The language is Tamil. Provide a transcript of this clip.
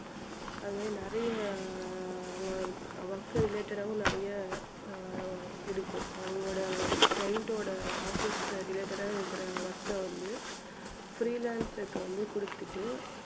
அது மாதிரி நிறைய அஹ் work related ஆவும் நிறைய அஹ் இருக்கும் அவங்களோட client ஓட office related ஆ இருக்குற work அ வந்து freelancer க்கு வந்து கொடுத்துட்டு